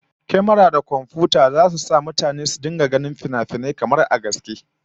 Kyamara da komfiyuta zasu sa mutane su rika ganin finafinai tamkar zahirin gaske